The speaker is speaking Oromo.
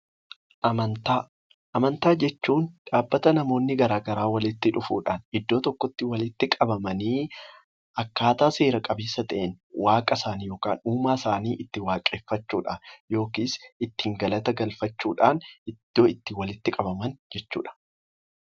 Amantaa jechuun dhaabbata namoonni garaa garaa walitti dhufuudhaan iddoo tokkotti walitti qabamanii akkaataa seera qabeessa ta'een, waaqa isaanii yookaan uumaa isaanii itti waaqeffachuudhaan yookiis ittiin galata galfachuudhaan iddoo itti walitti qabaman jechuudha.